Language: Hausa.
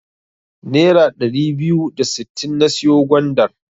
Nera ɗari biyu da sittin na siyo gwandar.